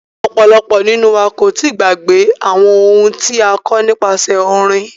Ọ̀pọ̀lọpọ̀ nínú wa kò tíì gbàgbé àwọn ohun tí a kọ́ nípasẹ orin.